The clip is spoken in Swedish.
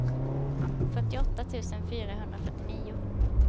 fyrtioåtta tusen fyrahundrafyrtionio